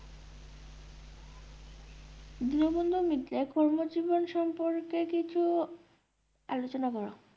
দীনবন্ধু মিত্রের কর্মজীবন সম্পর্কে কিছু আলোচনা করো।